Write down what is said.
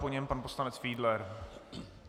Po něm pan poslanec Fiedler.